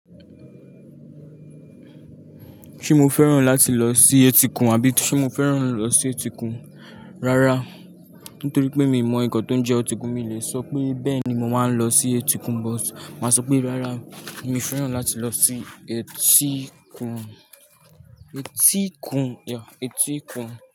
Ṣé mo fẹ́ràn láti lọ sí etíkun àbí ṣe mo fẹ́ràn lọ sí etíkun? Rárá, nítorí pé mi mọ ǹkan tó ń jẹ etíkun, mi ò lè sọ pé bẹ́ẹ̀ni mo máa ń lọ sí etíkun, but màá sọ pé rárá mi ò fẹ́ràn láti lọ sí etíkun, etíkun, yeah etíkun.